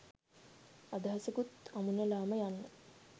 අදහසකුත් අමුණලාම යන්න